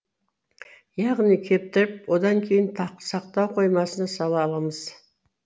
яғни кептіріп одан кейін сақтау қоймасына сала аламыз